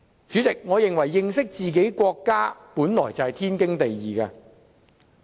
主席，我認為認識自己的國家，本來就是天經地義的事情。